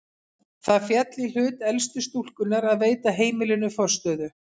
Það féll í hlut elstu stúlkunnar að veita heimilinu forstöðu.